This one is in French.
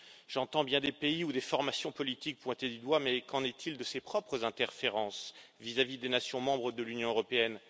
J'entends bien des pays ou des formations politiques pointés du doigt, mais qu'en est il de ses propres interférences vis à vis des nations membres de l'Union européenne?